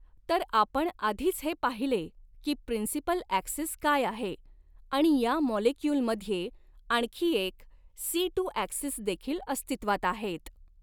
तर आपण आधीच हे पाहिले की प्रिंसिपल ॲक्सिस काय आहे आणि या मॉलेक्युलमध्ये आणखी एक सी टू ॲक्सिस देखील अस्तित्वात आहेत.